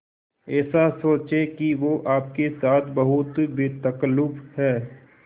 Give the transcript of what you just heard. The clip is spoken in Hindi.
ऐसा सोचें कि वो आपके साथ बहुत बेतकल्लुफ़ है